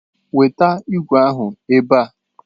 Weta igwe ahụ ebe a!